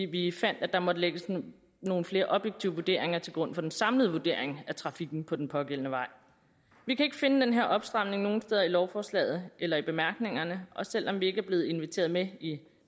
vi fandt at der måtte lægges nogle flere objektive vurderinger til grund for den samlede vurdering af trafikken på den pågældende vej vi kan ikke finde den her opstramning nogen steder i lovforslaget eller i bemærkningerne og selv om vi ikke er blevet inviteret med i